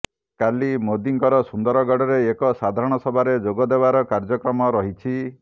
କାଲି ମୋଦିଙ୍କର ସୁନ୍ଦରଗଡ଼ରେ ଏକ ସାଧାରଣ ସଭାରେ ଯୋଗ ଦେବାର କାର୍ଯ୍ୟକ୍ରମ ରହିଛି